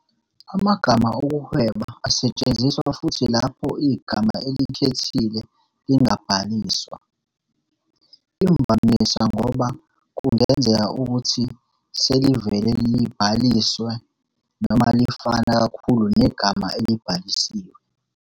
Amagama okuhweba asetshenziswa futhi lapho igama elikhethile lingabhaliswa, imvamisa ngoba kungenzeka ukuthi selivele libhalisiwe noma lifana kakhulu negama elibhalisiwe.